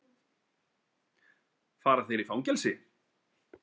Fara þeir í fangelsi?